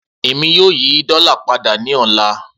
Emi yoo yi dola pada ni ọla.